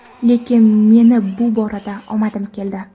Lekin meni bu borada omadim keldi.